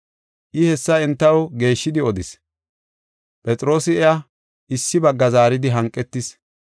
I hessa entaw geeshshidi odis. Phexroosi iya issi bagga zaaridi hanqetis.